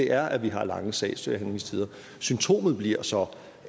er at vi har lange sagsbehandlingstider symptomet bliver så